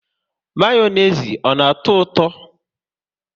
Mayonezi ọ na atọ ụtọ?